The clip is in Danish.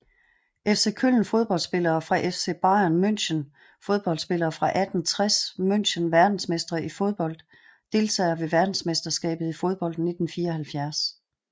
FC Köln Fodboldspillere fra FC Bayern München Fodboldspillere fra 1860 München Verdensmestre i fodbold Deltagere ved verdensmesterskabet i fodbold 1974